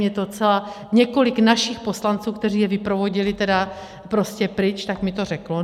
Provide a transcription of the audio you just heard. Mně to docela, několik našich poslanců, kteří je vyprovodili tedy prostě pryč, tak mi to řeklo.